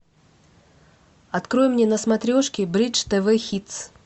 открой мне на смотрешке бридж тв хитс